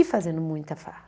E fazendo muita farra.